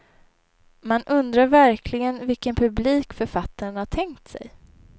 Man undrar verkligen vilken publik författaren har tänkt sig.